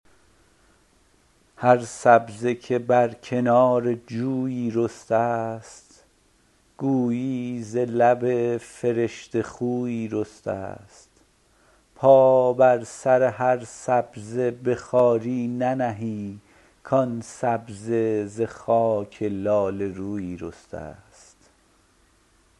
هر سبزه که بر کنار جویی رسته است گویی ز لب فرشته خویی رسته است پا بر سر سبزه تا به خواری ننهی کان سبزه ز خاک لاله رویی رسته است